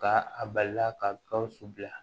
Ka a balila ka gawusu bila